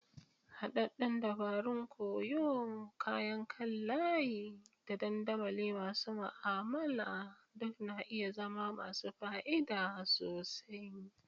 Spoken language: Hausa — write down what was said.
Haɗaɗɗen dabarun koyo, kayan kan layi, da dandamali masu ma'amala duk na iya zama masu fa'ida sosai.